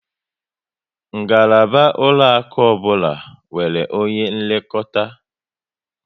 Ngalaba ụlọaku ọbụla nwere onye nlekọta